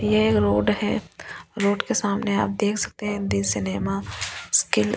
ये रोड है रोड के सामने आप देख सकते हैं हिंदी सिनेमा स्किप --